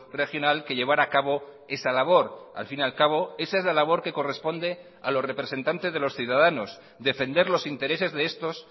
regional que llevar a cabo esa labor al fin y al cabo esa es la labor que corresponde a los representantes de los ciudadanos defender los intereses de estos